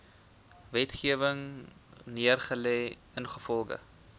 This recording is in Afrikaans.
wetgewing neergelê ingevolge